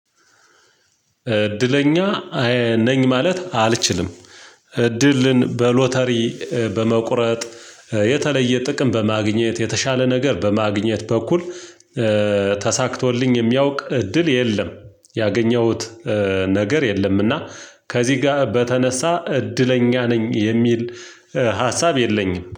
እድለኛ ነኝ ማለት አልችልም። እድልን በሎተሪ በመቁረጥ የተለየ ጥቅም በማግኘት የተሻለ ነገር በማግኘት በኩል ተሳክቶልኝ የሚያውቅ እድል የለም። ያገኘሁት ነገር የለምና ከዚህ ጋር በተነሳ እድለኛ ነኝ የሚል ሀሳብ የለኝም